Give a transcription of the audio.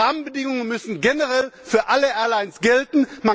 Die Rahmenbedingungen müssen generell für alle Airlines gelten.